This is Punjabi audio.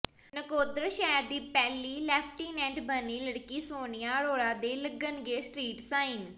ਨਕੋਦਰ ਸ਼ਹਿਰ ਦੀ ਪਹਿਲੀ ਲੈਫਟੀਨੈਂਟ ਬਣੀ ਲੜਕੀ ਸੋਨੀਆ ਅਰੋੜਾ ਦੇ ਲੱਗਣਗੇ ਸਟਰੀਟ ਸਾਈਨ